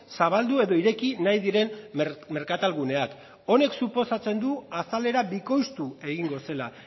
zabaldu edo ireki nahi diren merkatal guneak honek suposatzen du azalera bikoiztu egingo zela